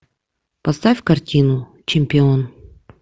поставь картину чемпион